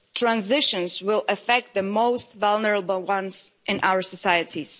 Transitions will affect the most vulnerable people in our societies.